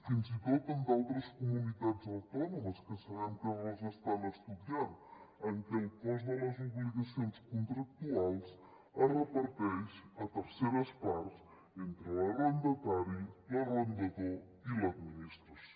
fins i tot en altres comunitats autònomes que sabem que les estan estudiant en què el cost de les obligacions contractuals es reparteix a terceres parts entre l’arrendatari l’arrendador i l’administració